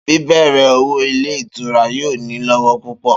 Bíbè̩rè̩ òwò ilé ìtura yóò ni lówó púpò̩